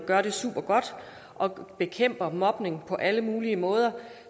gør det supergodt og bekæmper mobning på alle mulige måder